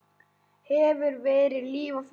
Hefur verið líf og fjör.